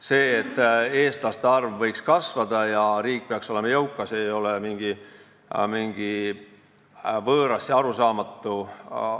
See, et eestlaste arv võiks kasvada ja riik peaks olema jõukas, ei ole mingi võõras ega arusaamatu teema.